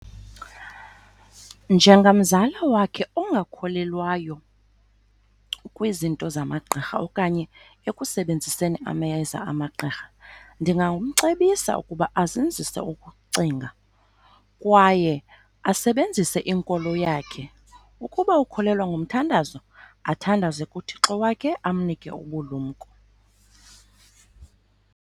Njengamzala wakhe ongakholelwayo kwizinto zamagqirha okanye ekusebenziseni amayeza amagqirha, ndingamcebisa ukuba azinzise ukucinga kwaye asebenzise inkolo yakhe. Ukuba ukholelwa ngomthandazo athandaze kuThixo wakhe amnike ubulumko.